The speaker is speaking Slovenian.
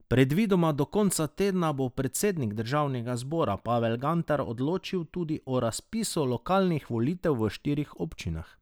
Predvidoma do konca tedna bo predsednik državnega zbora Pavel Gantar odločil tudi o razpisu lokalnih volitev v štirih občinah.